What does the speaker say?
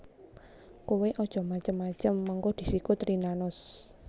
Kowe aja macem macem mengko disikut Rina Nose